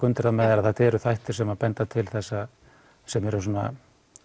undir með þér að þetta eru þættir sem benda til þess að sem eru svona